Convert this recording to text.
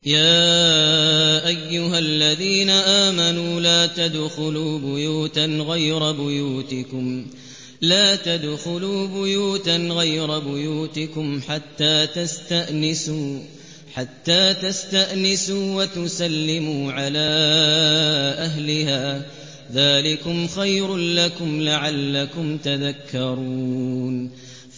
يَا أَيُّهَا الَّذِينَ آمَنُوا لَا تَدْخُلُوا بُيُوتًا غَيْرَ بُيُوتِكُمْ حَتَّىٰ تَسْتَأْنِسُوا وَتُسَلِّمُوا عَلَىٰ أَهْلِهَا ۚ ذَٰلِكُمْ خَيْرٌ لَّكُمْ لَعَلَّكُمْ تَذَكَّرُونَ